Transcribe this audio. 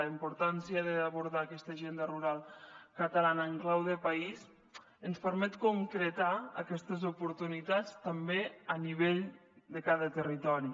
la importància d’abordar aquesta agenda rural catalana en clau de país ens permet concretar aquestes oportunitats també a nivell de cada territori